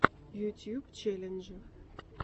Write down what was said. ютьюб челленджи